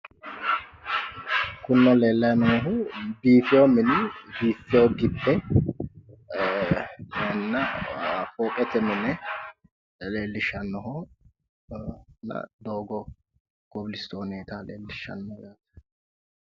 kuni xa leellayi noohu biifino mini biiffino gibbe eenna fooqete mine leellishshannoho doogo kobistooneeta leellishshanno yaate.